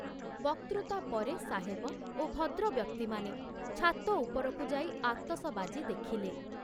ବକ୍ତୃତା ପରେ ସାହେବ ଓ ଭଦ୍ରବ୍ୟକ୍ତିମାନେ ଛାତ ଉପରକୁ ଯାଇ ଆତସବାଜି ଦେଖିଲେ।